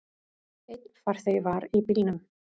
Einn farþegi var í bílnum.